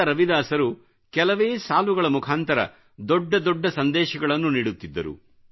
ಸಂತ ರವಿದಾಸರು ಕೆಲವೇ ಸಾಲುಗಳ ಮುಖಾಂತರ ದೊಡ್ಡ ದೊಡ್ಡ ಸಂದೇಶಗಳನ್ನು ನೀಡುತ್ತಿದ್ದರು